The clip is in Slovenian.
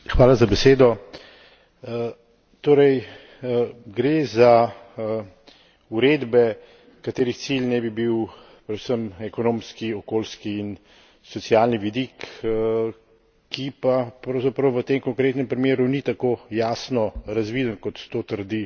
Torej, gre za uredbe, katerih cilj naj bi bil predvsem ekonomski, okoljski in socialni vidik, ki pa pravzaprav v tem konkretnem primeru ni tako jasno razviden, kot to trdi